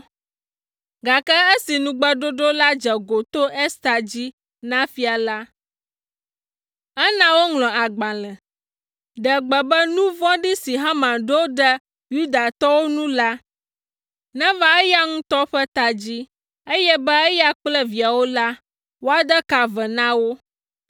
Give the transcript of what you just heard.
gake esi nugbeɖoɖo la dze go to Ester dzi na fia la, ena woŋlɔ agbalẽ, ɖe gbe be nu vɔ̃ɖi si Haman ɖo ɖe Yudatɔwo ŋu la, neva eya ŋutɔ ƒe ta dzi, eye be eya kple viawo la, woade ka ve na wo,